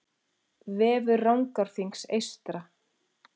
Vefur Rangárþings eystra